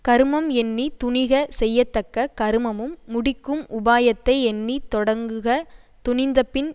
கருமம் எண்ணி துணிக செய்யத்தக்க கருமமும் முடிக்கும் உபாயத்தை எண்ணி தொடங்குக துணிந்தபின்